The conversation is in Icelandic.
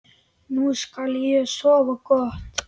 Nú skal ég sofa gott.